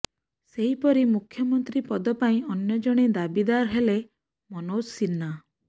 ସେହିପରି ମୁଖ୍ୟମନ୍ତ୍ରୀ ପଦ ପାଇଁ ଅନ୍ୟ ଜଣେ ଦାବିଦାର ହେଲେ ମନୋଜ ସିହ୍ନା